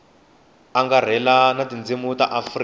angarhela ya tindzimi ta afrika